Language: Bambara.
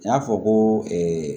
N y'a fɔ ko